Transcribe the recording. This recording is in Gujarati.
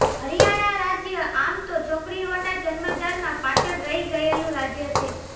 હરિયાણા રાજ્ય આમ તો છોકરીઓના જન્મ દરમાં પાછળ રહી ગયેલું રાજ્ય છે